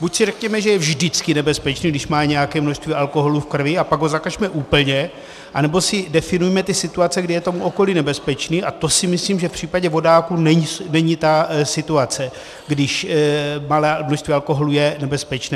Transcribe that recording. Buď si řekněme, že je vždycky nebezpečný, když má nějaké množství alkoholu v krvi, a pak ho zakažme úplně, anebo si definujme ty situace, kdy je tomu okolí nebezpečný, a to si myslím, že v případě vodáků není ta situace, kdy malé množství alkoholu je nebezpečné.